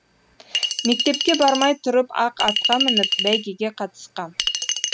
мектепке бармай тұрып ақ атқа мініп бәйгеге қатысқам